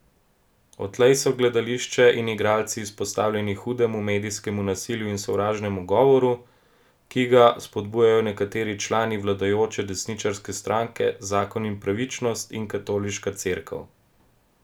Odtlej so gledališče in igralci izpostavljeni hudemu medijskemu nasilju in sovražnemu govoru, ki ga spodbujajo nekateri člani vladajoče desničarske stranke Zakon in pravičnost in Katoliška cerkev.